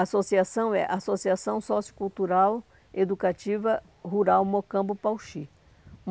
Associação é Associação Sociocultural Educativa Rural Mocambo Pauxi.